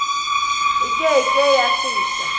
e ke ke ya feta